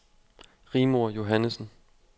Rigmor Johannessen